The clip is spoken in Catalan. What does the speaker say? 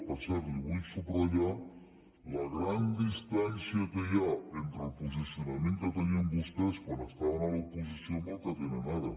per cert li vull subratllar la gran distància que hi ha entre el posicionament que tenien vostès quan estaven a l’opo·sició i el que tenen ara